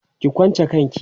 ki kwanche kanki!